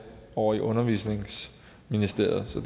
over i undervisningsministeriet så